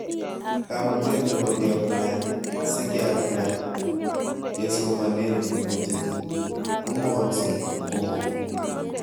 Kamutet nebo keaplain sikeaplain kesomanet nebo jitoo komogases komang.